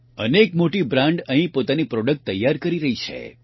અનેક મોટી બ્રાન્ડ અહીં પોતાની પ્રોડક્ટ તૈયાર કરી રહી છે